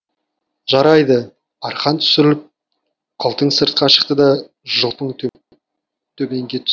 жарайды арқан түсіріліп қылтың сыртқа шықты да жылпың төменге түсті